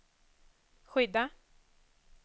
skydda